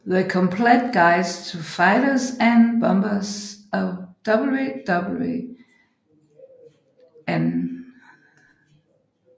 The Complete Guide to Fighters and Bombers of WWII